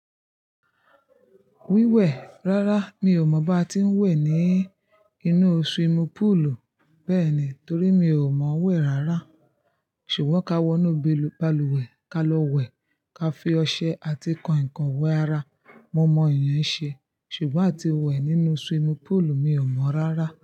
Wíwẹ̀, rárá mi ò mọ̀ bá ti ń wẹ̀ ní inú swimming pool. Bẹ́ẹ̀ni, torí mi ò mọ̀ wẹ̀ rárá. Ṣùgbọ́n ka wọ inú balùwẹ̀ ka lọ wẹ̀, ka fi ọṣẹ àti kàiǹkàin wẹ ara, mo mọ èèyàn ṣe. Ṣùgbọ́n atí wẹ̀ nínú swimming pool, mi ò mọ̀ rárá.